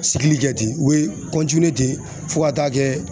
Sigili kɛ ten u bɛ ten fo ka taa kɛ